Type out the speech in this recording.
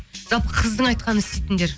жалпы қыздың айтқанын істейтіндер